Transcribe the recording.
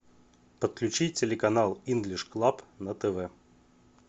подключить телеканал инглиш клаб на тв